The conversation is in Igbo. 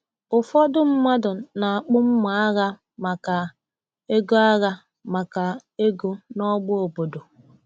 Ụfọdụ mmadụ na-akpụ mma agha maka ego agha maka ego n’ọgba obodo.